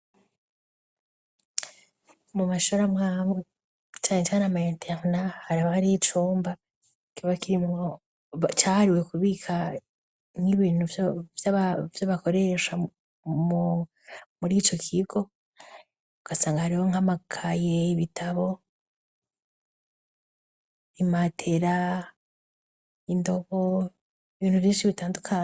Mu mashuri amwe amwe, cane cane muma interena haba hari icumba kibakirimwo ,cahariwe kubikamwo ivyo bakoresha muri ico kigo, ugasanga hariho nk'amakaye ,ibitabo ,bimatera indobo ,ibintu vyinshi bitandukanye.